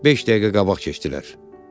Beş dəqiqə qabaq keçdilər.